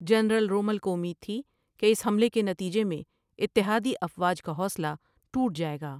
General Rommel کو اُمید تھی کہ اس حملے کے نتیجے میں اتحادی افواج کاحوصلہ ٹوٹ جائیگا ۔